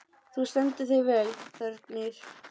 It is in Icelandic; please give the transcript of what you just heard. Þú stendur þig vel, Þórgnýr!